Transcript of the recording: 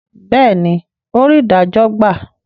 béèni, ò rí idajo gba